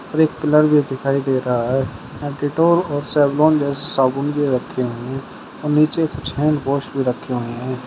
हरे colour में दिखाई दे रहा है। यहां डेटॉल और सैवलोन जैसे साबुन भी रखे हुए हैं और नीचे कुछ हैंडवॉश भी रखे हुए हैं।